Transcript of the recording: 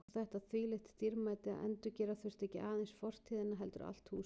Og þetta þvílíkt dýrmæti að endurgera þurfti ekki aðeins fortíðina heldur allt húsið.